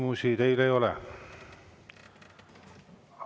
Küsimusi teile ei ole.